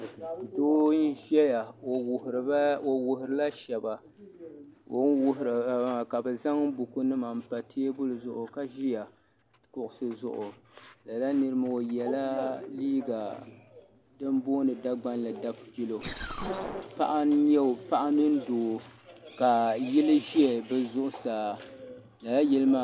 Doo n-ʒeya o wuhirila shɛba o ni wuhiri ba maa ka bɛ zaŋ bukunima m-pa teebuli zuɣu ka ʒiya kuɣusi zuɣu lala nira maa o yela din booni Dagbanli dafutilo paɣa n-nya o paɣa mini doo ka yili ʒe bɛ zuɣusaa.